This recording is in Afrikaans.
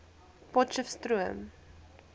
potcheftsroom